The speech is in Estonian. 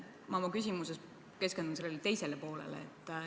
Ma oma küsimuses keskendun sellele teisele poolele.